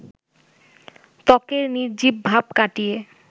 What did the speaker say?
ত্বকের নির্জীব ভাব কাটিয়ে